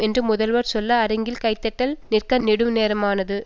என்று முதல்வர் சொல்ல அரங்கில் கைத்தட்டல் நிற்க நெடுநேரமானது